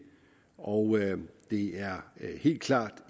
og det er helt klart